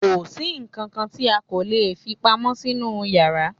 kòsí ǹkankan tí a kò lè fí pamọ́ sínú yàrá